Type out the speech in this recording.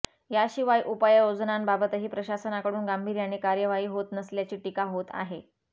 याशिवाय उपाययोजनांबाबतही प्रशासनाकडून गांभीर्याने कार्यवाही होत नसल्याची टिका होत आहे